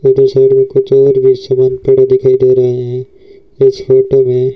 इधर साइड में कुछ और भी सीमेंट पड़े दिखाई दे रहे हैं इस फोटो में--